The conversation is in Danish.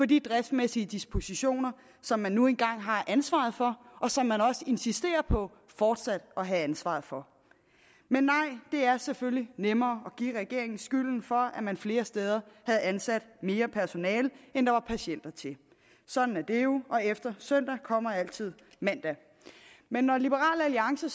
de driftsmæssige dispositioner som man nu engang har ansvaret for og som man også insisterer på fortsat at have ansvaret for men nej det er selvfølgelig nemmere at give regeringen skylden for at man flere steder havde ansat mere personale end der var patienter til sådan er det jo og efter søndag kommer altid mandag men når liberal alliance